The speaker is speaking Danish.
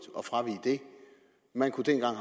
at fravige det man kunne dengang